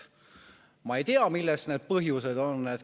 Ma ei tea, milles need põhjused on.